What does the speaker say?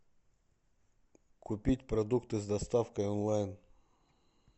купить продукты с доставкой онлайн